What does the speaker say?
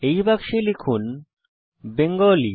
এই বাক্সে লিখুন বেঙ্গালি